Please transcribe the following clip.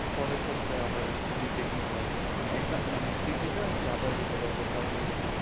পরের সপ্তাহে আবার retake নিতে পারব মানে এটা কি আবার দিতে পারব sir বললো।